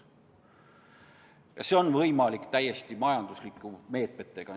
Ja see on võimalik olnud täiesti majanduslike meetmete abil.